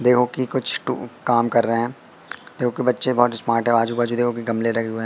देखो की कुछ टू कम कर रहे हैं देखो कि बच्चे बहोत स्मार्ट हैं आजू बाजू देखो कि गमले लगे हुए हैं।